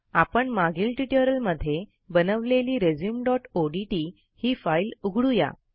आपण मागील ट्युटोरियलमध्ये बनवलेली resumeओडीटी ही फाईल उघडू या